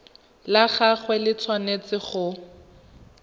la gagwe le tshwanetse go